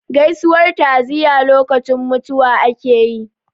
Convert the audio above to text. Gaisuwar ta'aziyya lokacin mutuwa ake yi.